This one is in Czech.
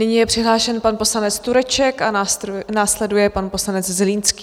Nyní je přihlášen pan poslanec Tureček a následuje pan poslanec Zlínský.